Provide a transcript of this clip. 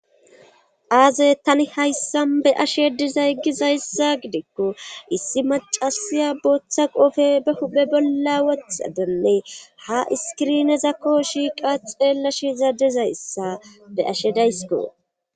aaze tani hayssan be ashe dizay gizayssa gideekko issi macasiya booththa qofe be huphe bolla wothadenne ha iskirinezakko shiiqa xeellashe za dizayssa be ashe daysiko